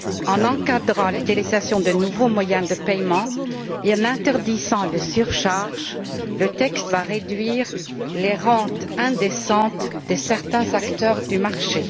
En encadrant l'utilisation des nouveaux moyens de paiement et en interdisant les surfacturations, le texte va réduire les rentes indécentes de certains acteurs du marché.